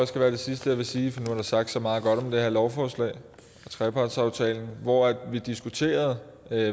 skal være det sidste jeg vil sige for der sagt så meget godt om det her lovforslag og trepartsaftalen hvor vi diskuterede